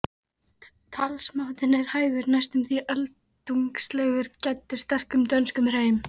Talsmátinn er hægur, næstum því öldungslegur, gæddur sterkum dönskum hreim.